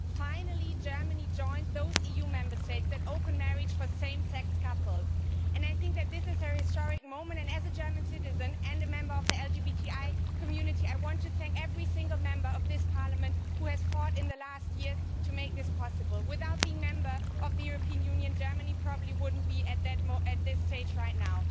Finally, Germany joined those EU Member States which have open marriage for same sex couples. This is a historic moment, and as a German citizen and a member of the LGBTI community, I want to thank every single Member of this Parliament who has fought in recent years to make this possible. Were it not a Member State of the European Union, Germany probably would not be at that this stage right now.